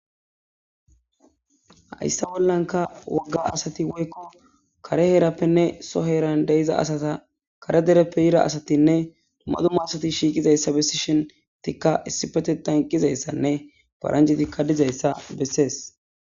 Hayssa bollanka wagga asati woykko kare heerappenne so heeran deyiza asata kare dereppe heera asatinne duma duma asati shiiqizayssa besishinikko issipete tan qqizayssanne paranjetikka dizayssa bessees.